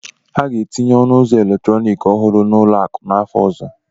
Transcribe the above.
Ha ga-etinye ọnụ ụzọ eletrọnịkị ọhụrụ n'ụlọ akụ n'afọ ọzọ